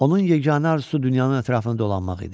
Onun yeganə arzusu dünyanın ətrafında dolanmaq idi.